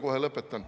Kohe lõpetan.